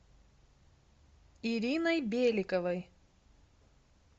ириной беликовой